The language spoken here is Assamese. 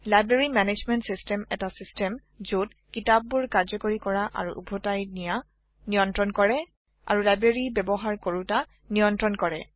লাইব্ৰেৰী মেনেজমেণ্ট চিচটেম এটা চিচটেম যত কিতাপবোৰ কাৰ্যকাৰি কৰা আৰু উভটাই নিয়া নিয়ন্ত্ৰন কৰে আৰু লাইব্ৰেৰী ব্যবহাৰ কৰোতা নিয়ন্ত্ৰন কৰে